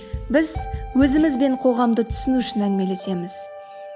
біз өзіміз бен қоғамды түсіну үшін әңгімелесеміз